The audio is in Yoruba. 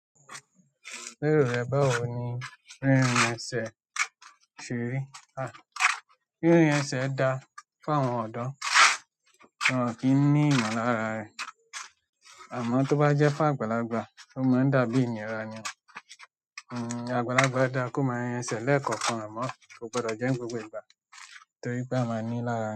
Lérò rẹ, ba wo ni rírìn ẹsẹ̀ ṣe rí? Rírìn ẹsẹ̀ dá fún àwọn ọ̀dọ́, wọ́n kí ni ìmọ̀ lára re. Àmọ́ tó bá jẹ́ fún àgbàlagbà ó má ń da bí ìnira ni o. Àgbàlagbà dáa kó máa rìn ẹsẹ̀ lẹ́ẹ̀ko-kan amọ, kò gbọdọ̀ jẹ́ gbogbo ìgbà torí pé a máa ní í lára.